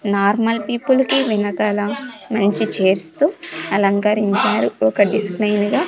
Normal people కి వెనకాల మంచి చైర్స్ తో అలంకరించారు ఒకటి స్మైన్ గా.